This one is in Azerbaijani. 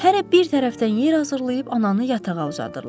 Hərə bir tərəfdən yer hazırlayıb ananı yatağa uzadırlar.